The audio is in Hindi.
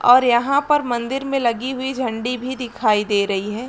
और यहाँ पर मंदिर में लगी हुई झंडी भी दिखाई दे रही है।